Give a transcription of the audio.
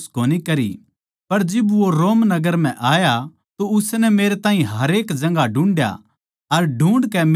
पर जिब वो रोम नगर म्ह आया तो उसनै मेरे ताहीं हरेक जगहां ढूंढ्या अर ढूँढ़ कै मेरै तै मिल्या